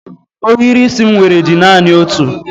Ohiri isi m nwere dị naani otu